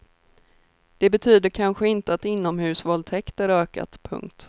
Det betyder kanske inte att inomhusvåldtäkter ökat. punkt